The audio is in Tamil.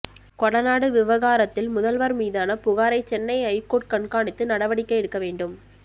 கொடநாடு விவகாரத்தில் முதல்வர் மீதான புகாரை சென்னை ஐகோர்ட் கண்காணித்து நடவடிக்கை எடுக்க வேண்டும்